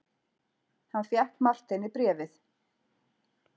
Hann fékk Marteini bréfið.